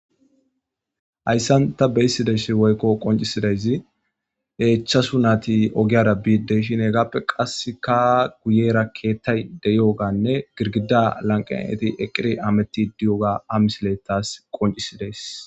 Hayssan ta beyssidays woykko qoncisidayzi eechchasu nati ogiyara biiddeshin hegappe qasse ka guyera keettay deyoganne girgida lanqaneti eqiri ametti diyoga amisiletas qoncisidees.